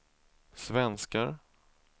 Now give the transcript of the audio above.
svenskar